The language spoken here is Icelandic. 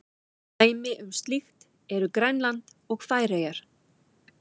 Dæmi um slíkt eru Grænland og Færeyjar.